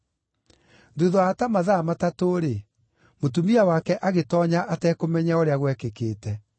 Thuutha wa ta mathaa matatũ-rĩ, mũtumia wake agĩtoonya atekũmenya ũrĩa gwekĩkĩte.